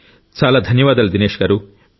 చాలా ధన్యవాదాలు దినేష్ గారూ